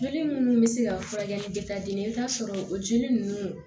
Joli munnu bɛ se ka furakɛli kɛta ɲini i bɛ t'a sɔrɔ o jeli ninnu